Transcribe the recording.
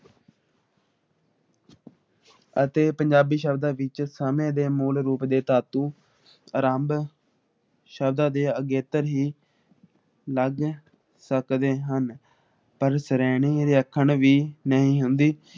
ਅਤੇ ਪੰਜਾਬੀ ਸ਼ਬਦਾਂ ਵਿੱਚ ਸਮਣ੍ਹੇ ਦੇ ਮੂਲ ਰੂਪ ਦੇ ਤਾਤੂ ਆਰੰਭ ਸ਼ਬਦਾਂ ਦੇ ਅਗੇਤਰ ਹੀ ਲੱਗ ਸਕਦੇ ਹਨ ।